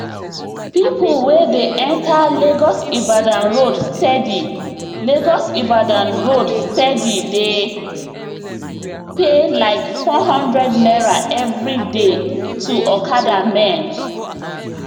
people wey dey enter lagosibadan road steady lagosibadan road steady dey pay like four hundred naira every day to okada men